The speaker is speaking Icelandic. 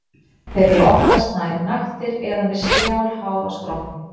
Þeir eru oftast nær naktir eða með strjál hár á skrokknum.